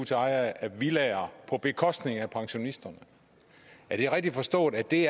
til ejere af villaer på bekostning af pensionisterne er det rigtigt forstået at det